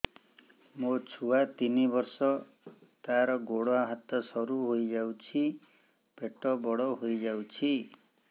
ମୋ ଛୁଆ ତିନି ବର୍ଷ ତାର ଗୋଡ ହାତ ସରୁ ହୋଇଯାଉଛି ପେଟ ବଡ ହୋଇ ଯାଉଛି